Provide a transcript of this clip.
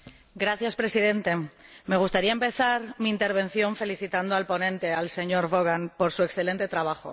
Señor Presidente, me gustaría empezar mi intervención felicitando al ponente, señor Vaughan, por su excelente trabajo.